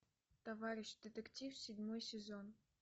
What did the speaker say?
товарищ детектив седьмой сезон